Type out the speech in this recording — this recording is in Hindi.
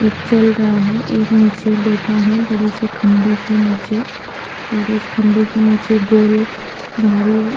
एक चल रहा है एक निचे बैठा है बड़े से खम्बे के निचे और उस खम्बे के निचे गोल धारी --